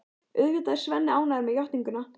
Auðvitað er Svenni ánægður með játninguna.